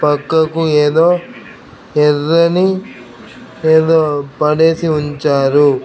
పక్కకు ఏదో ఎర్రని ఏదో పడేసి ఉంచారు.